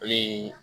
Olu